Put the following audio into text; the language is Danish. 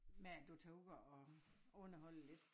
Med at du tager ud og og underholder lidt